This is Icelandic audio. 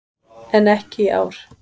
En ekki í ár.